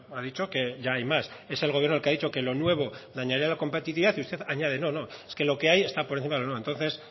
ha dicho ya hay más es el gobierno el que ha dicho que lo nuevo dañaría la competitividad y usted añade no no es que lo que hay está por encima de lo nuevo entonces